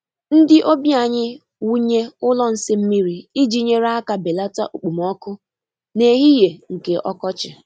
Ndi obi anyị wụnye ụlọ nsị mmiri iji nyere aka belata okpomọkụ n’ehihie nke ọkọchị.